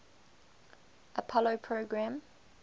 apollo program